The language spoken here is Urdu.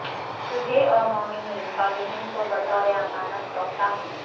تجھے اور مومنین صالحین کو بطور امانت سونپتا ہوں